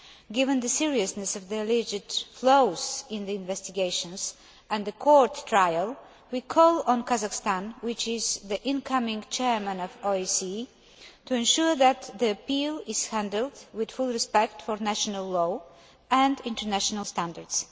Given the seriousness of the alleged flaws in the investigations and the court trial, we call on Kazakhstan, which is the incoming chair of the OSCE, to ensure that the appeal is handled with full respect for national law and international standards.